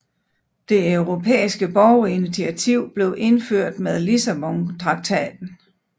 Det europæiske borgerinitiativ blev indført med Lissabontraktaten